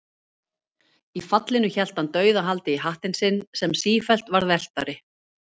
Í fallinu hélt hann dauðahaldi í hattinn sinn, sem sífellt varð velktari.